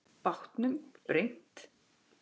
Bátnum brýnt.